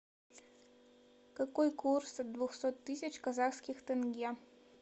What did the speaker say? какой курс от двухсот тысяч казахских тенге